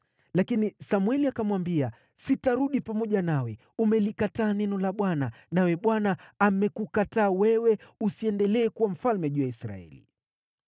Lakini Samweli akamwambia, “Sitarudi pamoja nawe. Umelikataa neno la Bwana , naye Bwana amekukataa wewe, usiendelee kuwa mfalme juu ya Israeli!”